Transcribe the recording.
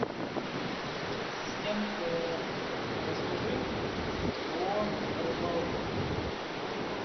ассистент расскажи о рыбалке